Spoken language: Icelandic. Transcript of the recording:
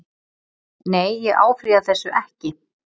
Nei ég áfrýja þessu ekki.